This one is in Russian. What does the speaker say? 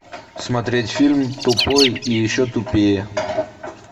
смотреть фильм тупой и еще тупее